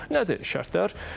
Nədir şərtlər?